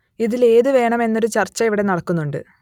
ഇതിൽ ഏതു വേണം എന്നൊരു ചർച്ച ഇവിടെ നടക്കുന്നുണ്ട്